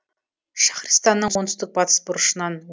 шахристанның оңтүстік батыс бұрышынан